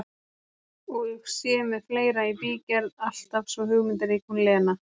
Og sé með fleira í bígerð, alltaf svo hugmyndarík hún Lena!